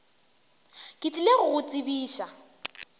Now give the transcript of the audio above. ke tlile go go tsebiša